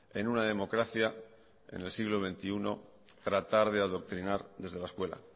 en una democracia en el siglo veintiuno tratar de adoctrinar desde la escuela